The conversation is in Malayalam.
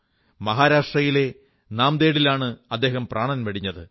മഹാരാഷ്ട്രയിടലെ നാംദേടിലാണ് അദ്ദേഹം പ്രാണൻ വെടിഞ്ഞത്